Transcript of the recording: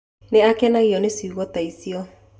Nĩ akenagio nĩ ciugo ta icio.